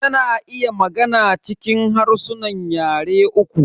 Ta na iya magana cikin harsunan yare uku.